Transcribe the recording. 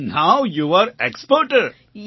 so now you are exporter